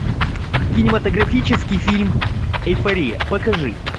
кинематографический фильм эйфория покажи